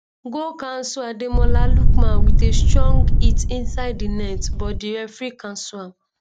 goal cancelledademola lookman wit a strong hit inside di net but di referee cancel am